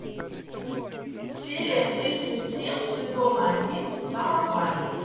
серия тридцать семь сезона один самозванец